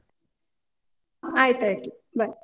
ಆಯ್ತಾಯ್ತು bye.